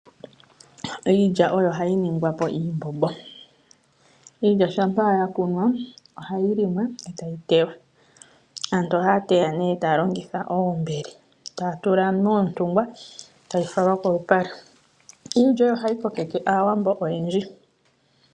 Iilya oyo hayi ningwapo iimbombo, iilya shampa ya kunwaa ohayi limwa eetayi teywa. Aantu ohaateya nee taalongitha oombele taatula moontungwa. Taya fala kolupale iilya oyo hayi kokeke aawambo oyendji.